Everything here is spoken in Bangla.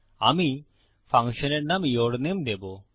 আমি ফাংশনের নাম ইউরনামে দেবো